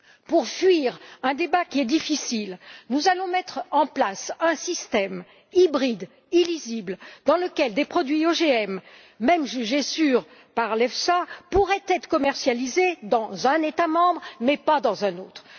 Pour fuir un débat difficile, nous allons mettre en place un système hybride illisible, dans lequel des produits OGM, même jugés sûrs par l'EFSA, pourraient être commercialisés dans un État membre, mais pas dans un autre.